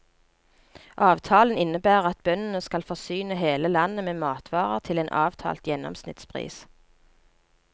Avtalen innebærer at bøndene skal forsyne hele landet med matvarer til en avtalt gjennomsnittspris.